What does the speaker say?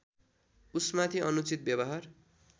उसमाथि अनुचित व्यवहार